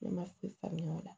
Ne ma se faamuya o la